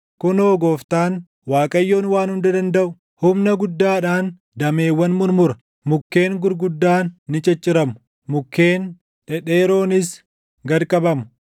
Kunoo Gooftaan, Waaqayyoon Waan Hunda Dandaʼu, humna guddaadhaan dameewwan murmura; mukkeen gurguddaan ni cicciramu; mukkeen dhedheeroonis gad qabamu.